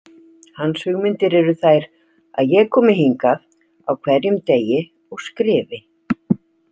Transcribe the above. Hans hugmyndir eru þær að ég komi hingað á hverjum degi og skrifi.